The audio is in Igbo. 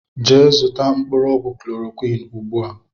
Gee zụta mkpụrụ ọgwụ chlọrọquin ụgbụa!!!